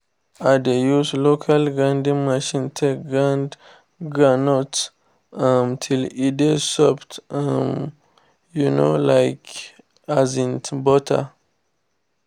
i de use local grinding machine take grind groundnut um till e de soft um um like um butter